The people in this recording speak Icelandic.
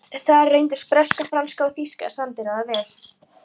Þar reyndust breska, franska og þýska sendiráðið vel.